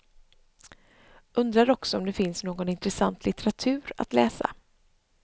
Undrar också om det finns någon inressant litteratur att läsa.